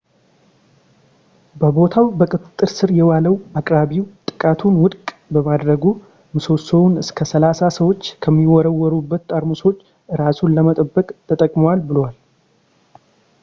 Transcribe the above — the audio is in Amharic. በቦታው በቁጥጥር ስር የዋለው አቅራቢው ጥቃቱን ውድቅ በማድረጉ ምሰሶውን እስከ ሰላሳ ሰዎች ከሚወረወሩበት ጠርሙሶች እራሱን ለመጠበቅ ተጠቅሟል ብሏል